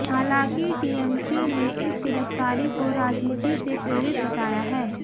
हालांकि टीएमसी ने इस गिरफ्तारी को राजनीति से प्रेरित बताया है